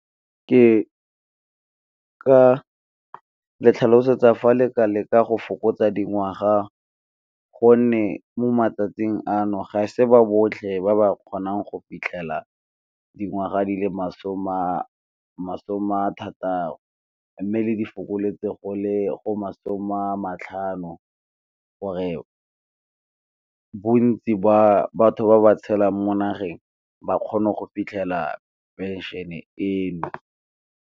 Ke ka le ntlhalosetsa fa le ka leka go fokotsa dingwaga, gonne mo matsatsing ano ga se ba botlhe ba ba kgonang go fitlhela dingwaga di le masome a thataro. Mme le di fokoletsa go le go masome a matlhano gore bontsi ba batho ba ba tshelang mo nageng ba kgone go fitlhela pension-e eno.